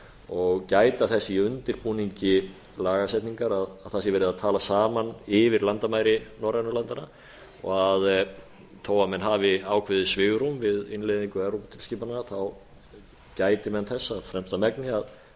og gæta þess í undirbúningi lagasetningar að það sé verið að tala saman yfir landamæri norrænu landanna og þó menn hafi ákveðið svigrúm við innleiðingu evróputilskipana gæti menn þess af fremsta megni að